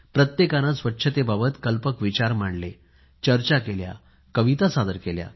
प्रत्येकाने स्वच्छते बाबत कल्पक विचार मांडलेचर्चा केल्या कविता सादर केल्या